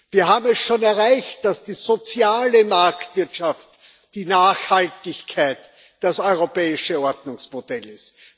Wir haben es schon erreicht, dass die soziale Marktwirtschaft die Nachhaltigkeit, das europäische Ordnungsmodell ist.